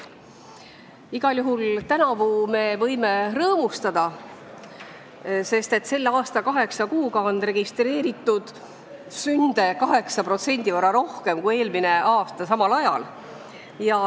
Igal juhul võime tänavu rõõmustada, sest selle aasta kaheksa kuuga on registreeritud 8% rohkem sünde kui eelmise aasta sama ajaga.